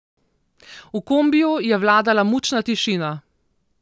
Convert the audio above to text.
V kombiju je vladala mučna tišina.